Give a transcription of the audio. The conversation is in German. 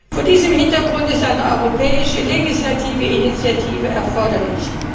Vor diesem Hintergrund ist eine europäische legislative Initiative erforderlich.